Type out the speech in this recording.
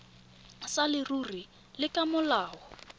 sa leruri le ka molao